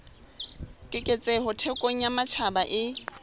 keketseho thekong ya matjhaba e